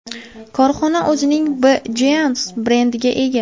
Korxona o‘zining B Jeans brendiga ega.